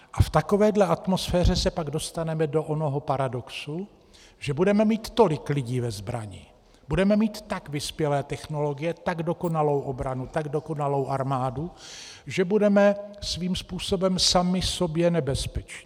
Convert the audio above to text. A v takové atmosféře se pak dostaneme do onoho paradoxu, že budeme mít tolik lidí ve zbrani, budeme mít tak vyspělé technologie, tak dokonalou obranu, tak dokonalou armádu, že budeme svým způsobem sami sobě nebezpeční.